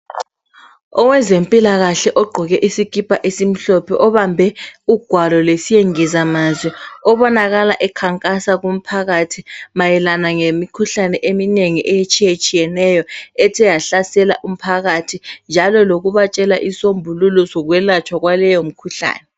Owezempilakahle ogqoke isikipa esimhlophe obambe ugwalo lwesingizamazwi obonakala ekhangasa kumphakathi mayelana ngemikhuhlane eminengi etshiyetshiyeneyo ethe yahlasela umphakathi njalo lokubatshela imisombululo sokwelatshwa kwaleyo mkhuhlane